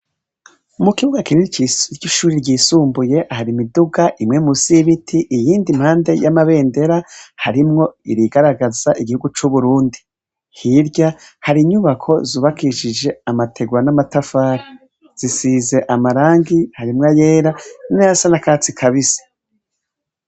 Mukibuga kinini c’ishuri ryisumbuye har’imiduga, imwe musi y’ibiti , iyindi impande y’amabendera harimwo irigararagaza igihugu c’Uburundi. Hirya, hari inyubako zubakishije amategura n’amatafari, zisize amarangi , harimw’ayera nayasa n’akatsi kabisi.